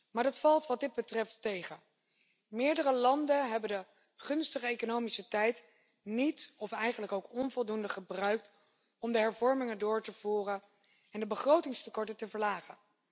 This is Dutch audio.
Maar dat valt wat dit betreft tegen. Meerdere landen hebben de gunstige economische tijd niet of onvoldoende gebruikt om hervormingen door te voeren en de begrotingstekorten te verlagen.